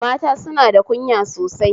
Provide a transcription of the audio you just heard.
Mata suna da kunya sosai